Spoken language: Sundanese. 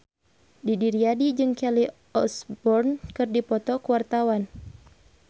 Didi Riyadi jeung Kelly Osbourne keur dipoto ku wartawan